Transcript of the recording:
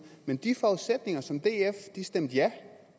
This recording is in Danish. men de forudsætninger som df stemte ja